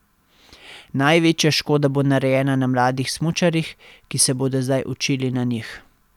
Največja škoda bo narejena na mladih smučarjih, ki se bodo zdaj učili na njih.